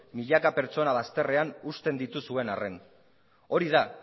milaka pertsona bazterrean uzten dituzuen arren hori da